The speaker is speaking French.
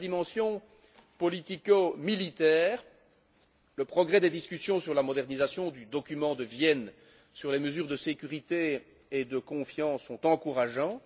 Dans la dimension politico militaire, les progrès des discussions sur le document de Vienne sur les mesures de sécurité et de confiance sont encourageants.